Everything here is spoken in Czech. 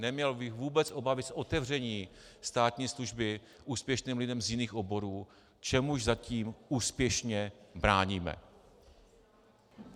Neměl bych vůbec obavy z otevření státní služby úspěšným lidem z jiných oborů, čemuž zatím úspěšně bráníme.